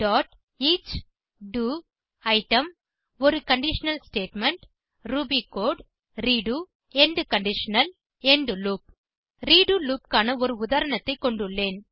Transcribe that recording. each do item ஒரு conditional statement Ruby code redo end conditional end loop redo loop க்கான ஒரு உதாரணத்தை கொண்டுள்ளேன்